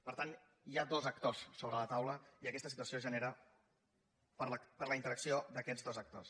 per tant hi ha dos actors sobre la taula i aquesta situació es genera per la interacció d’aquests dos actors